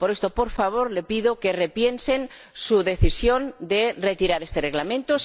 Por esto, por favor, le pido que repiensen su decisión de retirar este Reglamento.